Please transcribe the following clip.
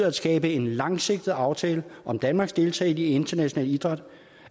at skabe en langsigtet aftale om danmarks deltagelse i international idræt